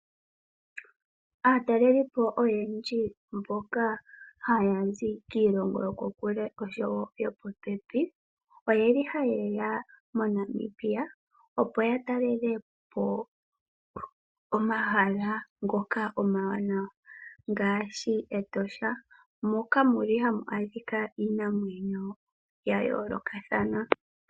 Aatalelipo oyendji mboka haya zi kiilongo yokukule oshowo yo popepi oye li haye ya moNamibia, opo ya talele po omahala ngono omawanawa ngaashi Etosha moka muli hamu adhika iinamwenyo ya yoolokothana.